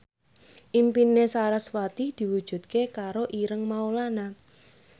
impine sarasvati diwujudke karo Ireng Maulana